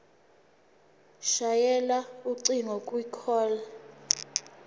shayela ucingo kwicall